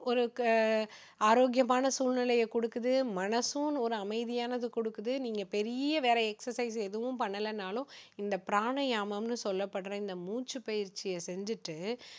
உங்களுக்கு ஆரோக்கியமான சூழ்நிலையை கொடுக்குது மனசும் ஒரு அமைதியானதை கொடுக்குது நீங்க பெரிய வேற exercise எதுவும் பண்ணலைன்னாலும் இந்த பிராணயாமம்னு சொல்லப்படுற இந்த மூச்சு பயிற்சியை செஞ்சுட்டு